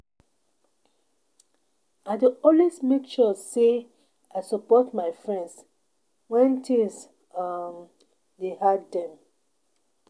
I dey always make sure sey I support my friends wen tins um dey hard dem.